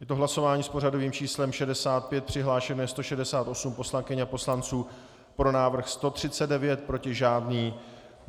Je to hlasování s pořadovým číslem 65, přihlášeno je 168 poslankyň a poslanců, pro návrh 139, proti žádný.